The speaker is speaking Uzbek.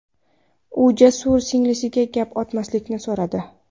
U Jasurdan singlisiga gap otmaslikni so‘radi.